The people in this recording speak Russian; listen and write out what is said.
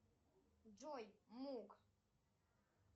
джой мук